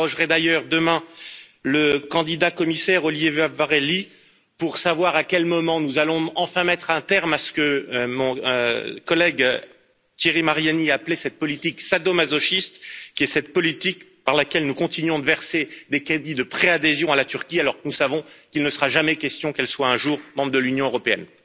J'interrogerai, d'ailleurs, demain le candidat commissaire Oliver Várhelyi pour savoir à quel moment nous allons enfin mettre un terme à ce que mon collègue, Thierry Mariani, appelait cette politique sadomasochiste, qui est cette politique par laquelle nous continuons de verser des crédits de préadhésion à la Turquie, alors que nous savons qu'il ne sera jamais question qu'elle soit un jour membre de l'Union européenne.